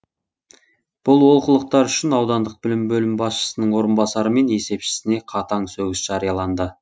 бұл олқылықтар үшін аудандық білім бөлімі басшысының орынбасары мен есепшісіне қатаң сөгіс жарияланды